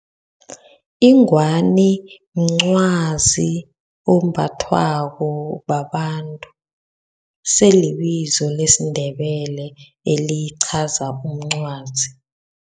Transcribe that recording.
Ingwani mncwazi ombathwako babantu. Selibizo lesiNdebele elichaza umncwazi.